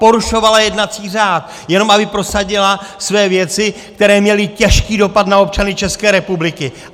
Porušovala jednací řád, jenom aby prosadila své věci, které měly těžký dopad na občany České republiky!